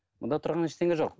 мұнда тұрған ештеңе жоқ